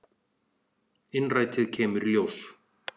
Innrætið kemur í ljós.